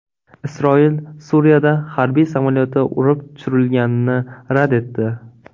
Isroil Suriyada harbiy samolyoti urib tushirilganini rad etdi.